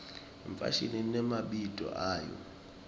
ifashimi imemabito ayo